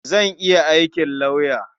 Zan iya aikin lauya.